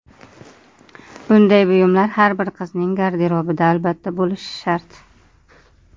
Bunday buyumlar har bir qizning garderobida albatta bo‘lishi shart.